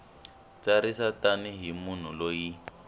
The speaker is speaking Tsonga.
tsarisa tani hi munhu loyi